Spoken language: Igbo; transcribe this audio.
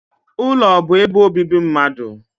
Ulo bu ebe obibi mmadu.